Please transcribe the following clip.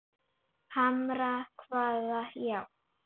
Hamra hvaða járn?